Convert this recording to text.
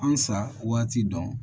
An sa waati dɔn